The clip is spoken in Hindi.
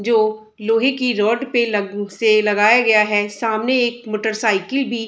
जो लोहे की रॉड पे लग से लगाया गया है सामने एक मोटेरसाइकिल भी --